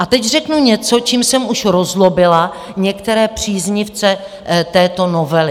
A teď řeknu něco, čím jsem už rozzlobila některé příznivce této novely.